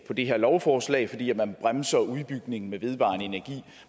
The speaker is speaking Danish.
på det her lovforslag fordi man bremser udbygningen med vedvarende energi